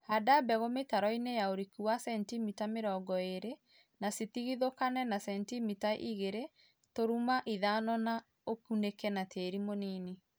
handa mbegũ mĩtaro ĩnĩ ya ũrĩkũ wa sentĩmĩta mĩrongo ĩĩrĩ na cĩtĩgĩthũkane na sentĩmĩta ĩgĩrĩ tũrũma ĩthano na ũkũnĩke na tĩĩrĩ mũnĩnĩ